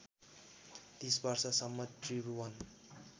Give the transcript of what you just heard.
३० वर्षसम्म त्रिभुवन